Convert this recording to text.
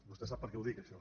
vostè sap per què ho dic això